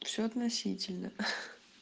все относительно ха